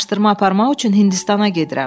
Araşdırma aparmaq üçün Hindistana gedirəm.